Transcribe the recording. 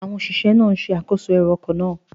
Àwọn òṣìṣẹ́ náà ń ṣe àkóso ẹrù ọkọ̀ náà.